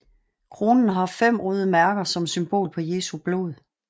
Kronen har fem røde mærker som symbol på Jesu blod